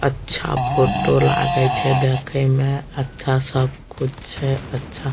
अच्छा फोटो लागे छै देखे में अच्छा सब कुछ छै अच्छा।